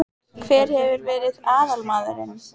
Hver hefur verið aðalmaðurinn?